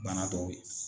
Bana dɔw ye